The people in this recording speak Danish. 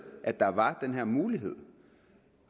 at der var den her mulighed